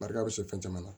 Barika bɛ se fɛn caman na